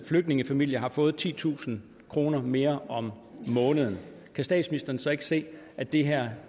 flygtningefamilier har fået titusind kroner mere om måneden kan statsministeren så ikke se at det her